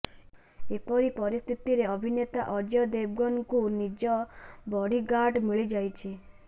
ଏପରି ପରିସ୍ଥିତିରେ ଅଭିନେତା ଅଜୟ ଦେବଗନଙ୍କୁ ନିଜ ବଡିଗାର୍ଡ଼ ମିଳିଯାଇଛି